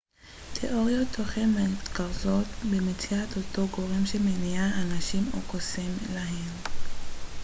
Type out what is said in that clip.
תיאוריות תוכן מתרכזות במציאת אותו גורם שמניע אנשים או קוסם להם